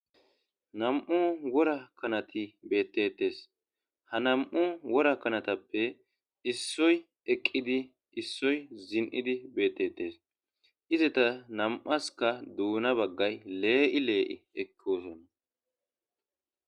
Nam7u wora kanati beettetes ha nam7u wora kanatappe issoy eqqidi issoy zin7idi beettetes izeta nam7aska duuna baggay lee7i lee7i ekki osona